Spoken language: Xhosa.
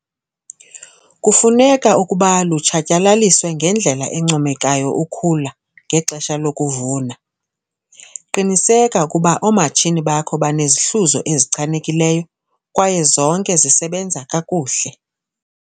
Kufuneka ukuba lutshatyalaliswe ngendlela encomekayo ukhula ngexesha lokuvuna. Qiniseka ukuba oomatshini bakho banezihluzo ezichanekileyo kwaye zonke zisebenza kakuhle.